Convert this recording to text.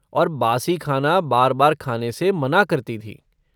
और बासी खाना बार बार खाने से मना करती थीं।